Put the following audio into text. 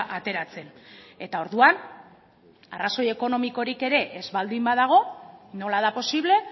ateratzen eta orduan arrazoi ekonomikorik ere ez baldin badago nola da posible